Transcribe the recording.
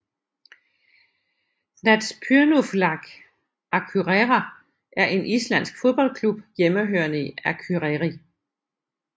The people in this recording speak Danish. Knattspyrnufélag Akureyrar er en islandsk fodboldklub hjemmehørende i Akureyri